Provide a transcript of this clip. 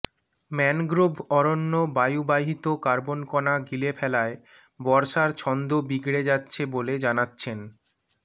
mangrove অরণ্য বায়ুবাহিত কার্বনকণা গিলে ফেলায় বর্ষার ছন্দ বিগড়ে যাচ্ছে বলে জানাচ্ছেন